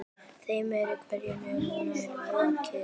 Þeim er hvergi nærri lokið.